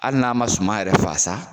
Hali n'a man suma yɛrɛ faa sa.